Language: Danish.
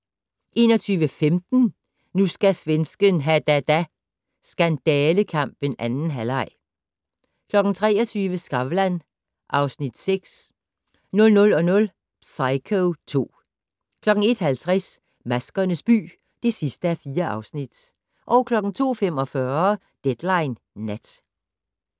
21:15: Nu skal svensken ha da da - skandalekampen 2. halvleg 23:00: Skavlan (Afs. 6) 00:00: Psycho II 01:50: Maskernes by (4:4) 02:45: Deadline Nat